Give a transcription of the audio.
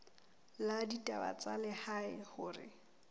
la ditaba tsa lehae hore